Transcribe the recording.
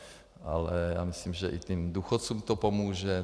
Ale já myslím, že i těm důchodcům to pomůže.